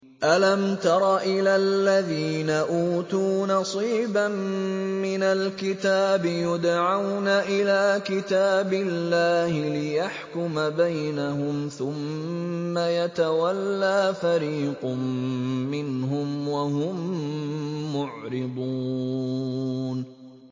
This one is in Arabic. أَلَمْ تَرَ إِلَى الَّذِينَ أُوتُوا نَصِيبًا مِّنَ الْكِتَابِ يُدْعَوْنَ إِلَىٰ كِتَابِ اللَّهِ لِيَحْكُمَ بَيْنَهُمْ ثُمَّ يَتَوَلَّىٰ فَرِيقٌ مِّنْهُمْ وَهُم مُّعْرِضُونَ